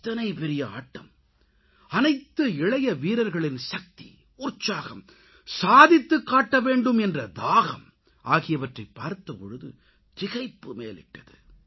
இத்தனை பெரிய ஆட்டம் அனைத்து இளைய வீரர்களின் சக்தி உற்சாகம் சாதித்துக் காட்டவேண்டும் என்ற தாகம் ஆகியவற்றைப் பார்த்தபோது திகைப்பு மேலிட்டது